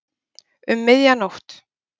Um miðja nótt.